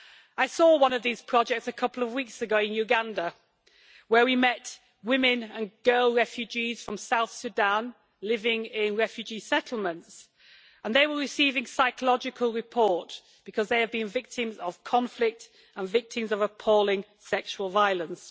I saw one of these projects a couple of weeks ago in Uganda, where we met women and girl refugees from South Sudan living in refugee settlements, and they were receiving psychological support because they have been victims of conflict and victims of appalling sexual violence.